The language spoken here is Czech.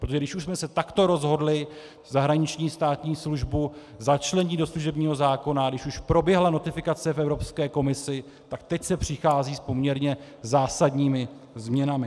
Protože když už jsme se takto rozhodli zahraniční státní službu začlenit do služebního zákona, když už proběhla notifikace v Evropské komisi, tak teď se přichází s poměrně zásadními změnami.